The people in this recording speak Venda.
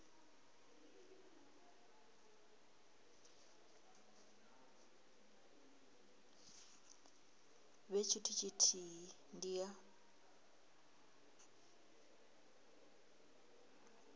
vhe tshithu tshithihi ndi ya